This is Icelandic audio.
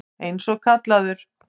Eins og kallaður.